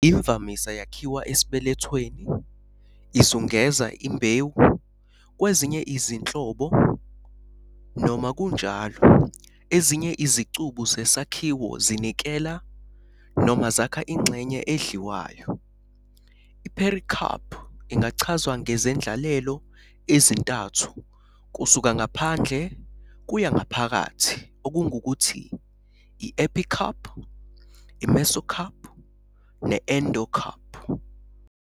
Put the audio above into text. Imvamisa yakhiwa esibelethweni, izungeza imbewu, kwezinye izinhlobo, noma kunjalo, ezinye izicubu zesakhiwo zinikela noma zakha ingxenye edliwayo. I-pericarp ingachazwa ngezendlalelo ezintathu kusuka ngaphandle kuya ngaphakathi, okungukuthi, i-epicarp, i-mesocarp ne-endocarp.